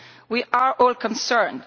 We are all concerned.